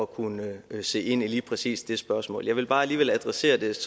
kunne se ind i lige præcis det spørgsmål jeg vil bare alligevel adressere det